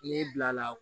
N'i bila la